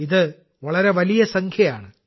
ഇത് വളരെ വലിയ സംഖ്യയാണ്